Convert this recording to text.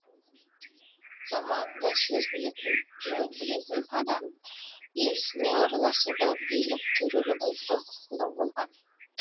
заманында сөз білетін жөн білетін адам ел ісіне араласуға билік төрелік айтуға құқылы болған